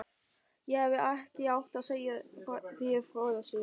Ég hefði ekki átt að segja þér frá þessu